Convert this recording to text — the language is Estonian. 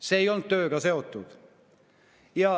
See ei olnud tööga seotud.